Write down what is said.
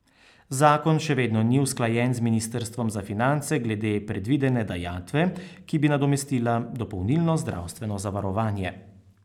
Zakon še vedno ni usklajen z ministrstvom za finance glede predvidene dajatve, ki bi nadomestila dopolnilno zdravstveno zavarovanje.